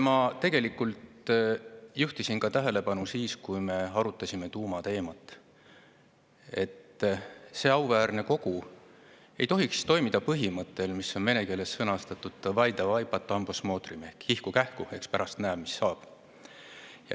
Ma tegelikult juhtisin ka siis, kui me arutasime tuumateemat, tähelepanu sellele, et see auväärne kogu ei tohiks toimida põhimõttel, mis on vene keeles sõnastatud "davai, davai, potom posmotrim" ehk "kihku-kähku, eks pärast näe, mis saab".